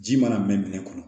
Ji mana mɛn minɛn kɔnɔ